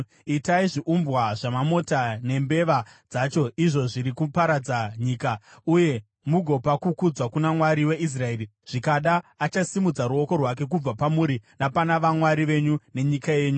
Itai zviumbwa zvamamota nembeva dzacho, izvo zviri kuparadza nyika, uye mugopa kukudzwa kuna Mwari weIsraeri. Zvikada achasimudza ruoko rwake kubva pamuri napana vamwari venyu nenyika yenyu.